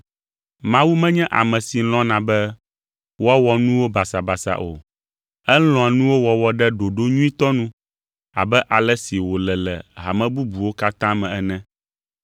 Mawu menye ame si lɔ̃na be woawɔ nuwo basabasa o; elɔ̃a nuwo wɔwɔ ɖe ɖoɖo nyuitɔ nu abe ale si wòle le hame bubuwo katã me ene.